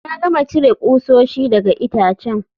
Na gama cire kusoshi daga itacen